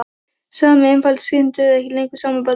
Sami einfalda skrýtlan dugði ekki lengur sama barninu.